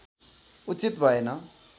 उचित भएन